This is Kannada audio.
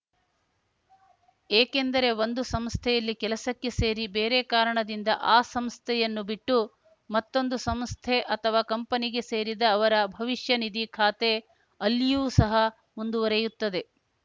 ಏಕೆಂದರೆ ಒಂದು ಸಂಸ್ಥೆಯಲ್ಲಿ ಕೆಲಸಕ್ಕೆ ಸೇರಿ ಬೇರೆ ಕಾರಣದಿಂದ ಆ ಸಂಸ್ಥೆಯನ್ನು ಬಿಟ್ಟು ಮತ್ತೊಂದು ಸಂಸ್ಥೆ ಅಥವಾ ಕಂಪನಿಗೆ ಸೇರಿದ ಅವರ ಭವಿಷ್ಯನಿಧಿ ಖಾತೆ ಅಲ್ಲಿಯೂ ಸಹ ಮುಂದುವರಿಯುತ್ತದೆ